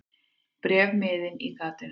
Bréfmiðinn í gatinu.